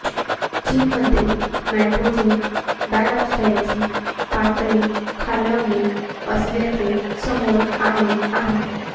चीनमध्ये नायट्रोजन डायऑक्साइडची पातळी खालावली असल्याचे समोर आले आहे